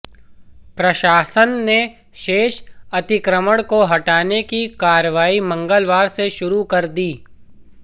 प्रशासन ने शेष अतिक्रमण को हटाने की कार्रवाई मंगलवार से ही शुरू कर दी